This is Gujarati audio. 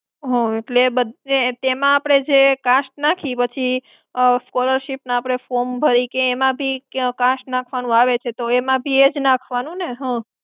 એટલે બધે, એમાં આપણે જે cast નાખી પછી, ઉમમ, scholarship નું આપણે form ભરી કે એમાં બી ક્યાંય cast નાખવાનું આવે છે, તો એમાં બી એ જ નાખવાનું ને હમ્મ?